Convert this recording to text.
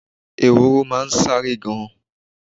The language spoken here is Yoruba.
Ehoro máa n sáré gan